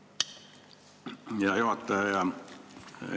Hea juhataja!